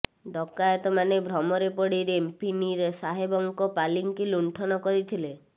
ଡକାଏତମାନେ ଭ୍ରମରେ ପଡ଼ି ରେମ୍ପିନି ସାହେବଙ୍କ ପାଲିଙ୍କି ଲୁଣ୍ଠନ କରିଥିଲେ